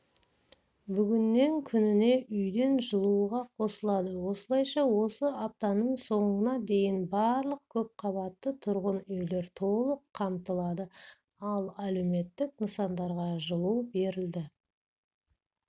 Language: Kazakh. бүгіннен күніне үйден жылуға қосылады осылайша осы аптаның соңына дейін барлық көпқабатты тұрғын үйлер толық қамтылады ал әлеуметтік нысандарға жылу берілді